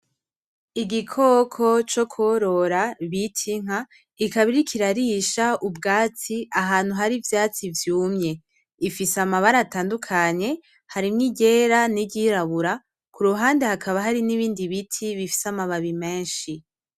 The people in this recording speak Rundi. Igikoko co kworora bita inka, ikaba iriko irarisha ahantu hari ivyatsi vyumye, ifise amabara atandukanye harimwo iryera n'iryirabura kuruhande hakaba hari nibindi biti bifise amababi menshi.